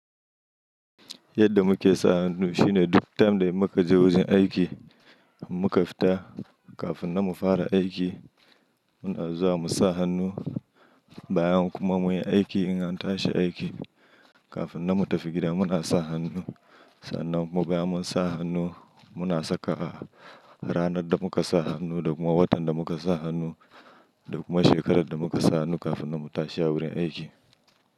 Yadda muke sa hannu shine duk time da muka je wajen aiki muka fita kafin na mu fara aiki muna zuwa mu sa hannu bayan kuma muyi aiki in an tashi aiki kafin na mu tafi gida muna sa hannu. Sannan mu bayan mun sa hannu muna saka ranar da muka sa hannu da kuma watan da muka sa hannu da kuma shekarar da muka sa hannu kafin na mu tashi a wurin aiki.